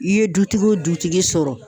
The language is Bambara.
I ye dutigi wo dutigi sɔrɔ